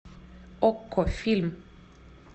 окко фильм